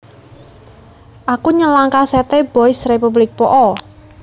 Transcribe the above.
Aku nyelang kaset e Boys Republic po o